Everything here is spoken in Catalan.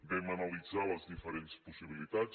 vam analitzar les diferents possibilitats